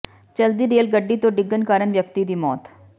ਚਲਦੀ ਰੇਲ ਗੱਡੀ ਤੋਂ ਡਿੱਗਣ ਕਾਰਨ ਵਿਅਕਤੀ ਦੀ ਮੌਤ